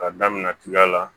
K'a daminɛ tiga la